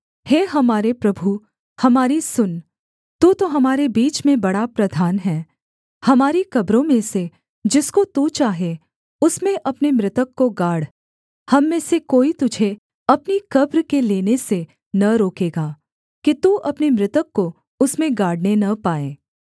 हे हमारे प्रभु हमारी सुन तू तो हमारे बीच में बड़ा प्रधान है हमारी कब्रों में से जिसको तू चाहे उसमें अपने मृतक को गाड़ हम में से कोई तुझे अपनी कब्र के लेने से न रोकेगा कि तू अपने मृतक को उसमें गाड़ने न पाए